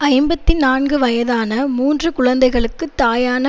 ஐம்பத்தி நான்கு வயதான மூன்று குழந்தைகளுக்குத் தாயான